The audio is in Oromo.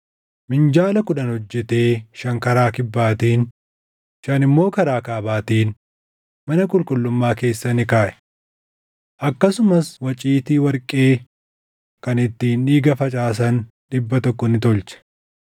Minjaala kudhan hojjetee shan karaa kibbaatiin, shan immoo karaa kaabaatiin mana qulqullummaa keessa ni kaaʼe. Akkasumas waciitii warqee kan ittiin dhiiga facaasan dhibba tokko ni tolche.